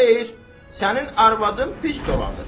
Xeyr, sənin arvadın pis dolanır.